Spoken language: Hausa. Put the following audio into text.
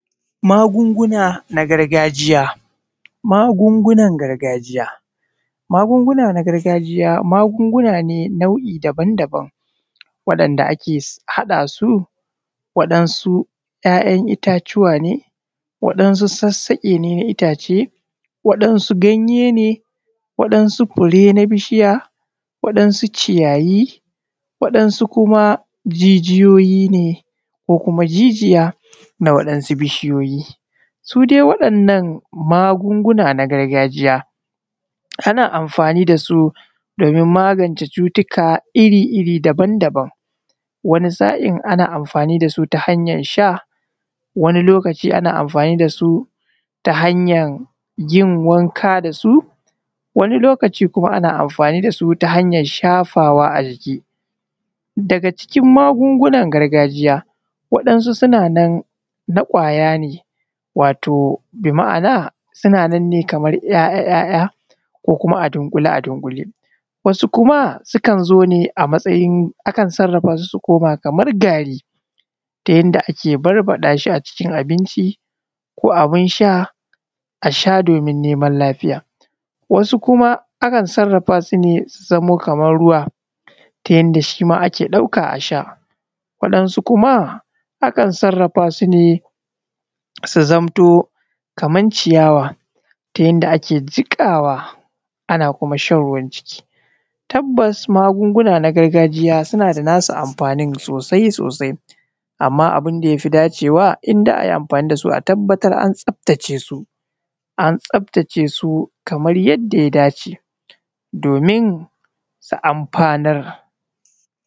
Magunguna na gargajiya. Magungunan gargajiya, magunguna na gargaji ya magunguna ne nau’i daban-daban waɗanda ake haɗa su, waɗansu ‘ya’yan itatuwa ne waɗansu sassaƙe na itace, waɗansu ganye ne, waɗansu fure ne na bishiya, waɗansu ciyayi, waɗansu kuma jijiyoyi ne ko kuma jijiya na ɗan wasu jijiyoyi su dai waɗannan magununa na gargajiya ana amfani da su wajen magance cututtuka iri-iri daban-daban, wani sa’in ana amfani da su ta hanyan sha, wani lokaci ana amfani da su ta hanyan yin wanka da su, wani lokaci kuma ana amfani da su ta hanyan shafawa a jiki, daga cikin magungunan gargajiya waɗansu suna na kwaya ne wato bi’amana suna na ne kwaya-kwaya ko kuma a dunƙule a dunƙule, wasu kuma sukan zo ne a matsayun. Akan sarrafa su ne su koma kamar gari ta yanda ake barbaɗa shi a cikin abinci ko abin sha, a sha domin neman lafiya, wasu kuma akan sarrafa su ne su zamo kaman ruwa ta yanda shi ma ake ɗauka a sha, waɗansu kuma akan sarrafa su ne su zamto kaman ciyawa ta yanda ake jiƙawa, ana kuma shan ruwan ciki tabbasa magunguna na gargajiya suna da nasu amfanin sosai-sosai, amma abin da ya fi dacewa in za a yi amfani da su a tabbatar an tsafta ce su, an tsafta ce sai kamar yadda ya dace domin su amfanar.